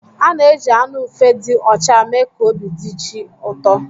A na-eji anụ ufe dị ọcha mee ka obi dị chi ụtọ.